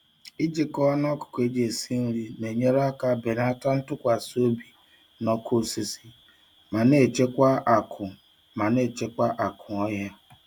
Ijikọ anụ ọkụkọ eji esi nri na-enyere aka belata ntụkwasị obi na ọkụ osisi ma na-echekwa akụ ma na-echekwa akụ ọhịa.